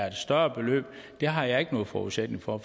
et større beløb det har jeg ikke nogen forudsætning for